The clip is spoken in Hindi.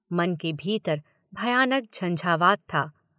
मन के भीतर भयानक झंझावात था।